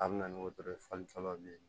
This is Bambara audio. A bɛ na ni wotoro ye fali fɔlɔ bilen